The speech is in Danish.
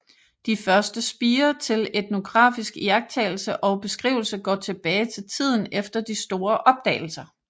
De første spirer til etnografisk iagttagelse og beskrivelse går tilbage til tiden efter de store opdagelser